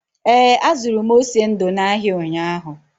Ee, azụrụ m ose ndu n’ahịa ụnyahụ.